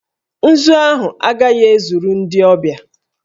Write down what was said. Nzu ahụ agaghị ezuru ndị ọbịa